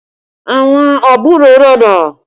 Àwọn àbúrò rẹ̀ dà?